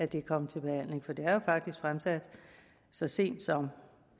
det er kommet til behandling for det er jo faktisk fremsat så sent som den